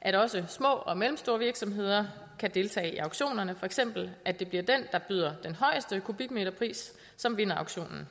at også små og mellemstore virksomheder kan deltage i auktionerne for eksempel at det bliver den der byder den højeste kubikmeterpris som vinder auktionen